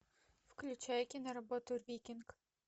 включай киноработу викинг